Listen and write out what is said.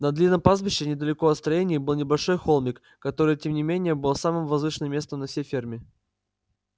на длинном пастбище недалеко от строений был небольшой холмик который тем не менее был самым возвышенным местом на всей ферме